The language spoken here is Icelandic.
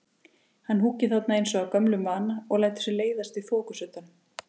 Hann húkir þarna eins og af gömlum vana, og lætur sér leiðast í þokusuddanum.